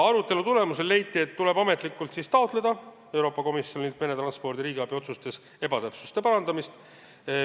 Arutelu tulemusena leiti, et Euroopa Komisjonilt tuleb ametlikult taotleda meretranspordi riigiabi otsustes ebatäpsuste parandamist.